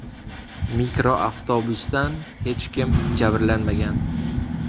Mikroavtobusdan hech kim jabrlanmagan.